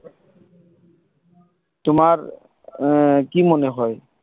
তোমার আহ কি মনে হয়?